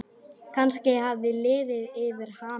Kannski hafði liðið yfir hana.